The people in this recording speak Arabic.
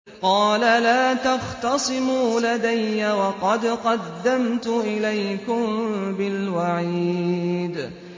قَالَ لَا تَخْتَصِمُوا لَدَيَّ وَقَدْ قَدَّمْتُ إِلَيْكُم بِالْوَعِيدِ